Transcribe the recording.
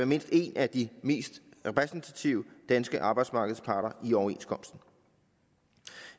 mindst en af de mest repræsentative danske arbejdsmarkedsparter i overenskomsten